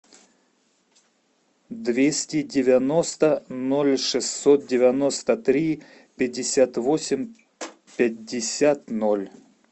двести девяносто ноль шестьсот девяносто три пятьдесят восемь пятьдесят ноль